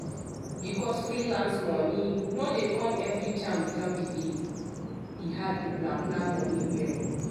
because freelance money no dey come everytime without delaye hard to plan plan money well.